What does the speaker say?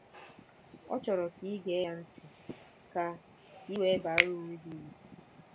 Ọ chọrọ ka i gee ya ntị ka ka i wee baara onwe gị uru.